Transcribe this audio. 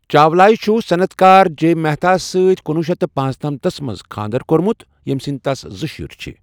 چاولایہ چُھ صنعتكار جے مہتاہس سۭتۍ کُنوُہ شیٚتھ پانژنمتَھس منٛز خاندر كورمُت، یم سنٛدۍ تس زٕ شُرۍ چھِ ۔